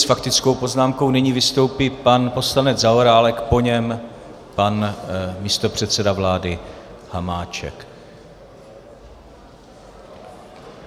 S faktickou poznámkou nyní vystoupí pan poslanec Zaorálek, po něm pan místopředseda vlády Hamáček.